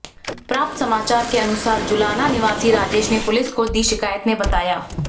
प्राप्त समाचार के अनुसार जुलाना निवासी राजेश ने पुलिस को दी शिकायत में बताया